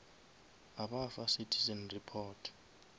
a ba fa citizen report